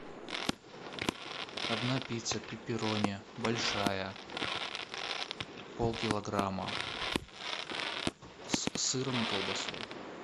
одна пицца пепперони большая полкилограмма с сыром и колбасой